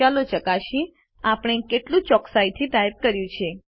ચાલો ચકાસીએ આપણે કેટલું ચોક્કસાઈથી ટાઇપ કર્યું છે